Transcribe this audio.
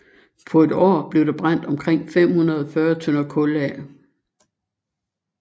På et år blev der brændt omkring 540 tønder kul af